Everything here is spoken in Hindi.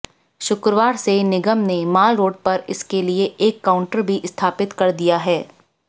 शुक्रवार से निगम ने मॉलरोड पर इसके लिए एक काउंटर भी स्थापित कर दिया है